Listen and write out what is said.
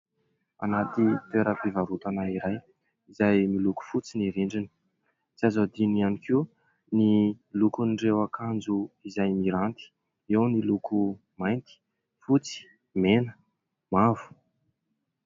Anaty toeram-pivarotana iray, izay miloko fotsy ny rindriny ; tsy azo adino ihany koa ny lokon'ireo akanjo izay miranty, eo ny loko : mainty, fotsy, mena, mavo...